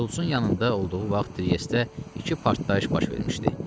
Şults-un yanında olduğu vaxt Triestdə iki partlayış baş vermişdi.